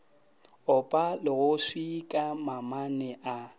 opa legofsi ka mamane a